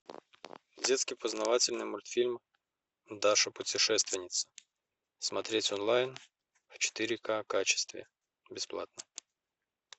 детский познавательный мультфильм даша путешественница смотреть онлайн в четыре ка качестве бесплатно